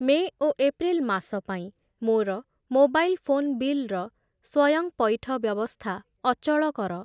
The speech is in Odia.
ମେ' ଓ ଏପ୍ରିଲ୍ ମାସ ପାଇଁ ମୋର ମୋବାଇଲ୍ ଫୋନ୍‌ ବିଲ୍‌ର ସ୍ଵୟଂପଇଠ ବ୍ୟବସ୍ଥା ଅଚଳ କର।